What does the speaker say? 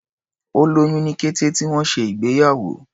Ó lóyún ní kété tí wọ́n ṣe ìgbéyàwó.